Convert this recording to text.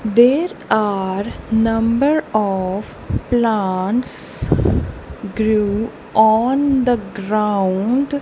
there are number of plants grew on the ground.